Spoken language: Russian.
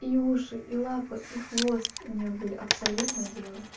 и уши и лапы и хвост у неё были абсолютно белые